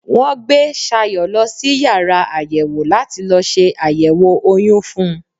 Wọ́n gbé Sayọ̀ lọ sí yàrá àyẹ̀wò láti lọ se àyẹ̀wò oyún fún un.